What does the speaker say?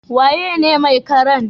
Waye ne mai karan?